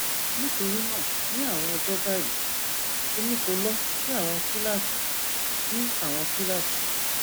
nitorina ni awọn ọjọ bayi emi ko lọ si awọn kilasi si awọn kilasi